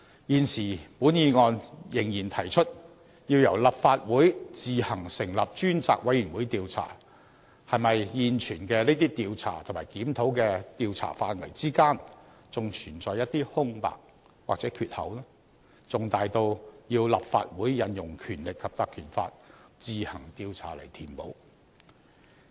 現時本議案仍然提出，要由立法會自行成立專責委員會調查，是否現存的這些調查及檢討的調查範圍之間，還存在一些空白或缺口，重大到要立法會引用《條例》自行調查來填補？